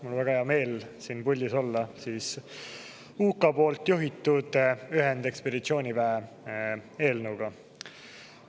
Mul on väga hea meel siin puldis olla UK juhitud ühendekspeditsiooniväe eelnõuga.